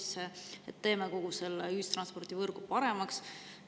teha kogu ühistranspordivõrk paremaks.